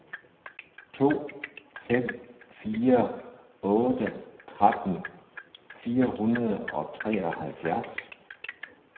to fem fire otte tretten fire hundrede og treoghalvfjerds